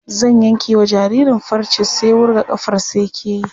Zan yankewa jaririn farce sai wurga ƙafarsa yake yi.